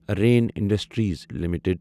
رٮ۪ن industries limited